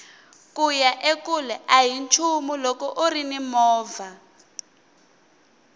kuya ekule ahi nchumu loko urini movha